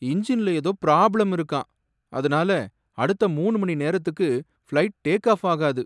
இன்ஜின்ல ஏதோ ப்ராப்ளம் இருக்காம். அதுனால அடுத்த மூணு மணி நேரத்துக்கு ஃபிளைட் டேக் ஆஃப் ஆகாது.